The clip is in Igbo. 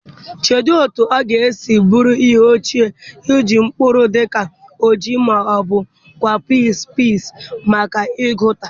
Cheedị otú ọ ga-esi bụrụ ihe ọchị iji mkpụrụ dị ka ọjị ma ọ bụ kawụpiz peas maka ịgụta